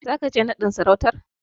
Zaka je naɗin sarautar?